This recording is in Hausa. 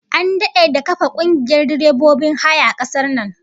An dade da kafa kungiyar direbobin haya a kasar nan